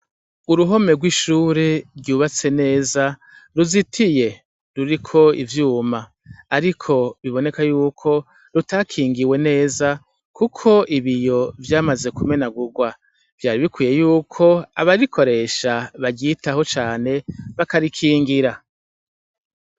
Uruhome rw’ishure ryubatse neza , ruzitiye ruriko ivyuma ariko biboneka yuko rutakingiwe neza kuko ibiyo vyamaze kumenagurwa. Vyari bikwiye yuko abarikoresha baryitaho cane, bakabikingira.